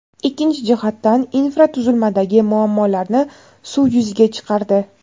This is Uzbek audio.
ikkinchi jihatdan infratuzilmadagi muammolarni suv yuziga chiqardi.